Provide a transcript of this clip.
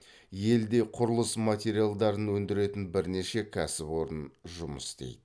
елде құрылыс материалдарын өндіретін бірнеше кәсіпорын жұмыс істейді